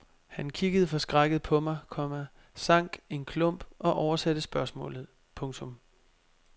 Han kiggede forskrækket på mig, komma sank en klump og oversatte spørgsmålet. punktum